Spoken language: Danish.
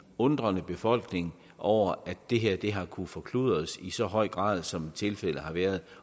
undren i befolkningen over at det her har kunnet forkludres i så høj grad som tilfældet har været